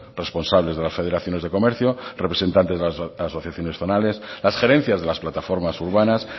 responsables de las federaciones de comercio representantes de las asociaciones zonales las gerencias de las plataformas urbanas